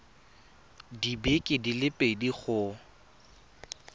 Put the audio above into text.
dibeke di le pedi go